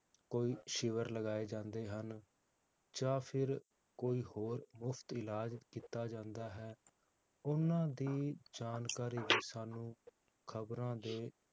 ਕੋਈ ਸ਼ਿਵਰ ਲਗਾਏ ਜਾਂਦੇ ਹਨ, ਜਾਂ ਫਿਰ ਕੋਈ ਹੋਰ ਮੁਫ਼ਤ ਇਲਾਜ ਕੀਤਾ ਜਾਂਦਾ ਹੈ ਓਹਨਾ ਦੀ ਜਾਣਕਾਰੀ ਵੀ ਸਾਨੂੰ ਖਬਰਾਂ ਦੇ